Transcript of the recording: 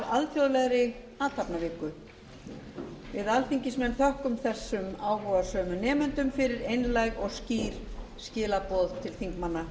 alþjóðlegri athafnaviku við alþingismenn þökkum þessum áhugasömu nemendum fyrir einlæg og skýr skilaboð til þingmanna